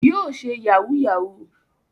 Yóò ṣe yahúù-yahù.